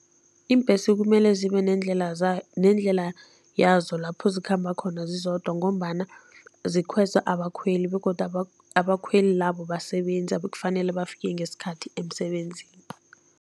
Iimbhesi kumele zibe neendlela zayo nendlela yazo lapho zikhamba khona zizodwa ngombana zikhweza abakhweli begodu abakhweli labo basebenzi abekufanele bafike ngesikhathi emsebenzini.